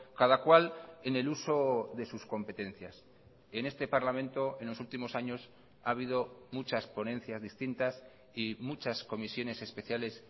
cada cual en el uso de sus competencias en este parlamento en los últimos años ha habido muchas ponencias distintas y muchas comisiones especiales